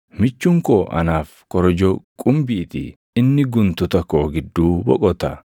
Michuun koo anaaf korojoo qumbii ti; inni guntuta koo gidduu boqota.